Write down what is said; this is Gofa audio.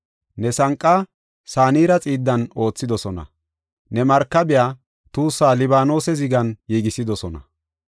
Ne sanqa Sanira xiiddan oothidosona; ne markabiya tuussaa Libaanose zigan giigisidosona.